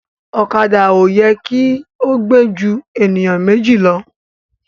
Ọ̀kadà oyè ki gbe jù eniyan Méjì ló